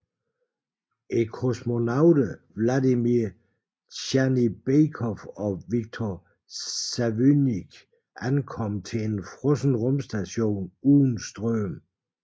Kosmonauterne Vladimir Dzjanibekov og Viktor Savinykh ankom til en frossen rumstation uden strøm